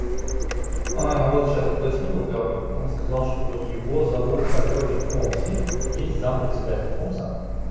а вот сейчас уточнил у габы он сказал что его зовут а короче фомси есть зам председатель фомса